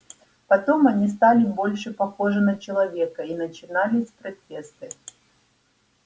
потом они стали больше похожи на человека и начинались протесты